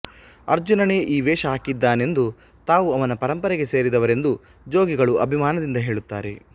ಅರ್ಜುನನೇ ಈ ವೇಷ ಹಾಕಿದ್ದನೆಂದೂ ತಾವು ಅವನ ಪರಂಪರೆಗೆ ಸೇರಿದವರೆಂದೂ ಜೋಗಿಗಳು ಅಭಿಮಾನದಿಂದ ಹೇಳುತ್ತಾರೆ